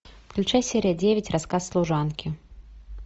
включай серия девять рассказ служанки